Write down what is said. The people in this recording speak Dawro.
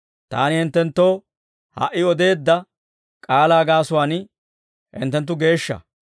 Taani hinttenttoo ha"i odeedda k'aalaa gaasuwaan, hinttenttu geeshsha.